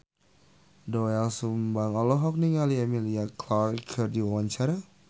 Doel Sumbang olohok ningali Emilia Clarke keur diwawancara